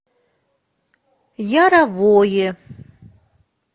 яровое